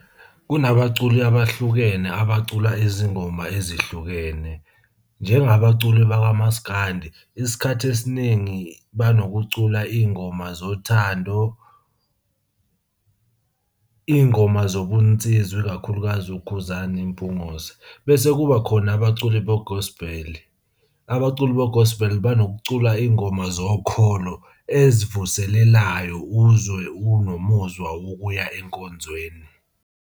Kunabaculi abahlukene abacula izingoma ezihlukene, njengabaculi bakamaskandi isikhathi esiningi banokucula iy'ngoma zothando, iy'ngoma zobunsizwa ikakhulukazi uKhuzani Mpungose. Bese kuba khona abaculi be-gospel, abaculi be-gospel banokucula iy'ngoma zokholo ezivuselelayo uzwe unomuzwa wokuya enkonzweni.